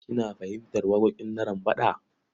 Kina fahimtar waƙoƙin Narambaɗa?